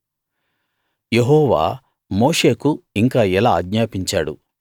యెహోవా మోషేకు ఇంకా ఇలా ఆజ్ఞాపించాడు